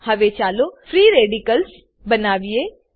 હવે ચાલો free radicals બનાવીએ